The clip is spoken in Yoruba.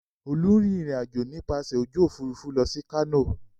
Olú ń rìnrìn-àjò nípasẹ̀ ojú òfurufú lọ sí Kano.